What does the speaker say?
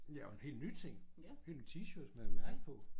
Ja og nogle helt nye ting hely ny T-shirt med mærke på